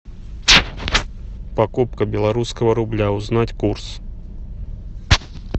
покупка белорусского рубля узнать курс